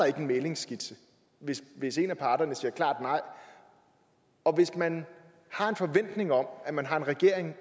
ikke en mæglingsskitse hvis en af parterne siger klart nej og hvis man har en forventning om at man har en regering og